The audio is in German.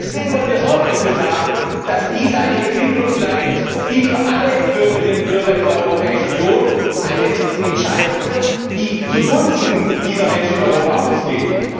Deswegen wollen wir Sorge dafür tragen, dass dies eine Entwicklung bleibt, die für alle Bürgerinnen und Bürger in der Europäischen Union eine Entscheidung wird, die zugunsten dieser Menschen in Europa ausgeht.